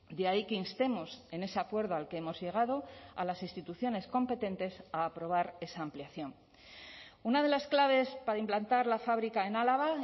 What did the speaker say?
de ahí que instemos en ese acuerdo al que hemos llegado a las instituciones competentes a aprobar esa ampliación una de las claves para implantar la fábrica en álava